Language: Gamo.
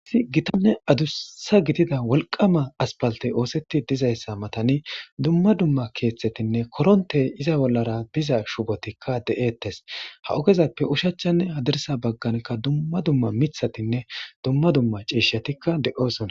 issi gitanne adussa gidida wolqama aspalte oosetti dizayssa matani dumma dumma keeththetinne koronte iza bollara biza shubotikka de7eettes ha ogezappe ushachanne hadirsa bagganka dumma dumma mithatinne dumma dumma ciishetikka de7osona